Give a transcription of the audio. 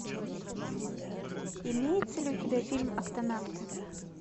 имеется ли у тебя фильм октонавты